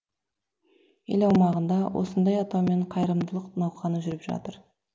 ел аумағында осындай атаумен қайырымдылық науқаны жүріп жатыр